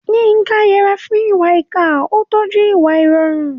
Yinka yẹra fún ìwà ìkà, ó ń tọ́jú ìwà ìrọ̀rùn.